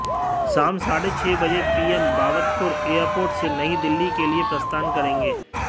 शाम साढ़े छह बजे पीएम बाबतपुर एयरपोर्ट से नई दिल्ली के लिए प्रस्थान करेंगे